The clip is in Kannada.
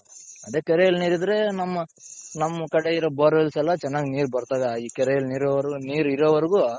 ಅದೇ ಕೆರೆಯಲ್ಲಿ ನೀರಿದ್ರೆ ನಮ್ಮ ನಮ್ ಕಡೆ ಇರೋ bore wells ಎಲ್ಲಾ ಚೆನ್ನಾಗಿ ನೀರ್ ಬರ್ತದೆ ಈ ಕೆರೆಯಲ್ಲಿ ನೀರ್ ಇರೋವರ್ಗು.